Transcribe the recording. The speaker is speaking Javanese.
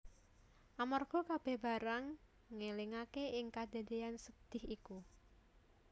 Amarga kabèh barang ngelingaké ing kadadéyan sedhih iku